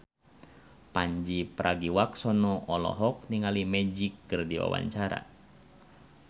Pandji Pragiwaksono olohok ningali Magic keur diwawancara